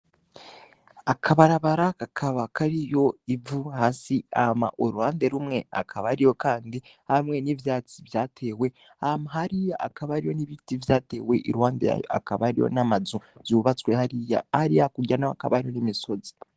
Akabarabara kakaba kariho ivu hasi hama uruhande rumwe hakaba hariho Kandi hamwe n'ivyatsi vyatewe ahantu hari hakaba hariho n'ibitit vyatewe iruhande yayo hakaba hariho n'amazu yubatswe hariya hariya hakurya naho hakaba hari imisozi.